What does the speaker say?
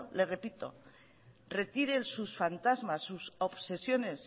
le repito que retire sus fantasmas sus obsesiones